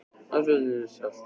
Landsliðsferillinn í salt?